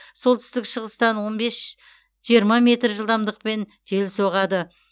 солтүстік шығыстан он бес жиырма метр жылдамдықпен жел соғады